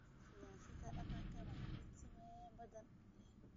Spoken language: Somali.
Siyaasadda deegaanka waa mid saameyn badan leh.